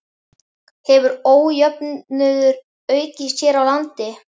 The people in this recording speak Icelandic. Hefur ójöfnuður aukist hér á landi?